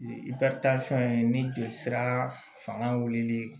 ye ni joli sira fanga wulilen